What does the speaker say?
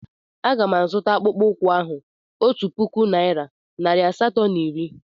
A ga m azụta akpụkpọ ụkwụ ahụ otu puku naịra nari asatọ na iri.